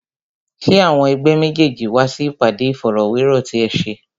Ṣé àwọn ẹ̀gbẹ́ méjèèjì wá sí ìpàdé Ìfọ̀rọ̀wérọ̀ ti ẹ ṣe?